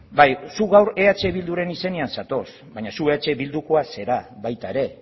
bai zuk eh bilduren izenean zatoz baina zuk eh bildukoa zara baita ere